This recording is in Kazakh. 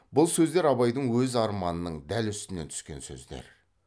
бұл сөздер абайдың өз арманының дәл үстінен түскен сөздер